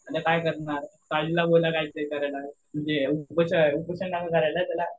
आता काय करणार? साजिदला उपोषण